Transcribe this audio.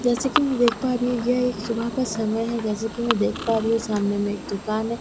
जैसे कि मै देख पा रही हूँ यह एक सुबह का समय है जैसे कि मै देख पा रही हू सामने में एक दुकान है।